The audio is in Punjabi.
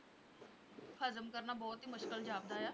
ਹਜ਼ਮ ਕਰਨਾ ਬਹੁਤ ਹੀ ਮੁਸ਼ਕਲ ਜਾਪਦਾ ਹੈ